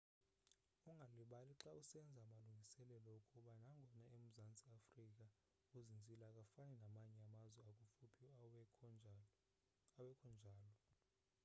ungalibali xa usenza amalungiselelo ukuba nangona umzantsi africa uzinzile akafani namanye amazwe akufuphi awekhonjalo